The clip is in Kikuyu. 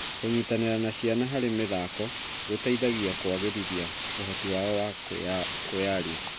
Kũnyitanĩra na ciana harĩ mĩthako gũteithagia kũagĩrithia ũhoti wao wa kwĩyaria.